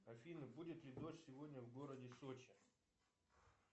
афина будет ли дождь сегодня в городе сочи